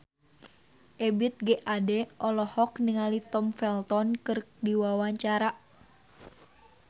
Ebith G. Ade olohok ningali Tom Felton keur diwawancara